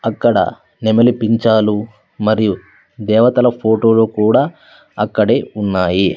అక్కడ నెమలిపించాలు మరియు దేవతల ఫోటోలు కూడా అక్కడే ఉన్నాయి.